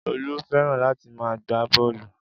Olú fẹ́ràn láti máa gbá bọ́ọ̀lù